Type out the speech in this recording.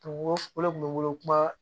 O o de kun be n bolo kuma